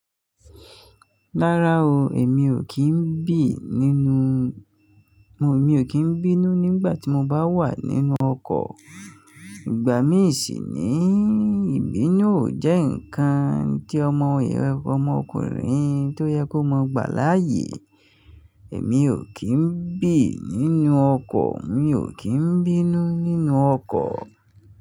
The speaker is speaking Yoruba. Rárá o, èmi ò kí ń bì nínú, mo, mi ò kí ń bínú nígbà tí mo bá wà nínú ọkọ̀, ìgbà mí si nii, ìbínú ò jẹ́ nǹkan tí ọmọ, ọmọ ọkùnrin tó yẹ kó mọ gbà láàyè, èmi ò kí ń bì nínú ọkọ̀, mi ò kí ń bínú nínú ọkọ̀